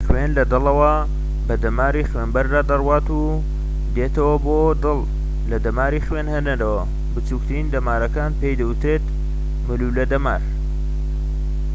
خوێن لە دڵەوە بە دەماری خوێنبەردا دەڕوات و دێتەوە بۆ دڵ لە دەماری خوێنهێنەرەوە بچوکترین دەمارەکان پێی دەوترێت مولولە دەمار